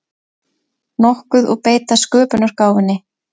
nokkuð og beita sköpunargáfunni.